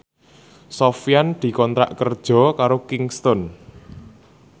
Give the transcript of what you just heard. Sofyan dikontrak kerja karo Kingston